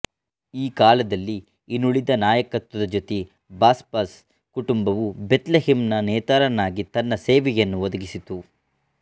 ಈ ಕಾಲದಲ್ಲಿ ಇನುಳಿದ ನಾಯಕತ್ವದ ಜೊತೆ ಬಾಸ್ಬಸ್ ಕುಟುಂಬವು ಬೆಥ್ ಲೆಹೆಮ್ ನ ನೇತಾರನಾಗಿ ತನ್ನ ಸೇವೆಯನ್ನು ಒದಗಿಸಿತು